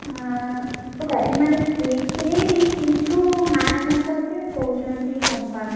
ଏ ମାନେ fix ହେଇନି କିନ୍ତୁ March ମାସ ଯେ କହୁଛନ୍ତି ହବା ରେ।